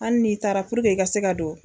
Hali n'i taara puruke i ka se ka don